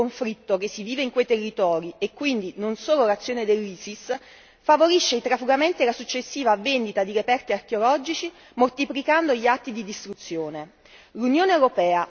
Lo stato permanente di conflitto che si vive in quei territori, e quindi non solo l'azione dell'Isis, favorisce i trafugamenti e la successiva vendita di reperti archeologici, moltiplicando gli atti di distruzione.